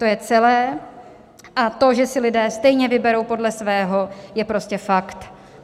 To je celé a to, že si lidé stejně vyberou podle svého, je prostě fakt.